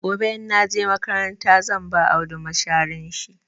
Gobe in na je makaranta zan ba Audu masharin shi.